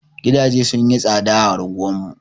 Gidaje sun yi tsaɗa a anguwar mu.